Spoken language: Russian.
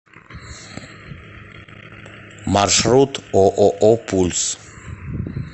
маршрут ооо пульс